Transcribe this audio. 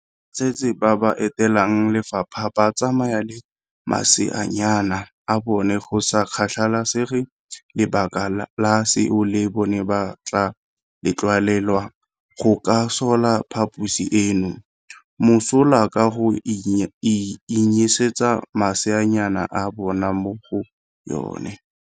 Batsetse ba ba etelang lefapha ba tsamaya le maseanyana a bone go sa kgathalesege lebaka la seo le bone ba tla letlelelwa go ka sola phaposi eno mosola ka go anyisetsa maseanyana a bona mo go yone.